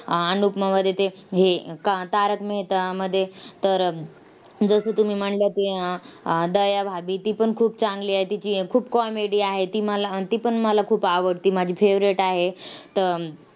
अनुपमामध्ये ते हे का तारक मेहतामध्ये तर जसं तुम्ही म्हणला की, आह दयाभाभी ती पण खूप चांगली आहे. तिची खूप comedy आहे. ती मला आन ती पण मला खूप आवडते. माझी favorite आहे. त